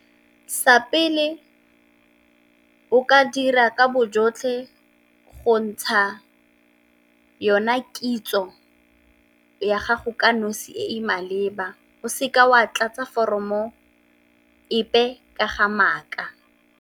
Sa pele o ka dira ka bo jotlhe go ntsha yona kitso ya gago ka nosi e e maleba, o seka wa tlatsa foromo epe ka ga maaka.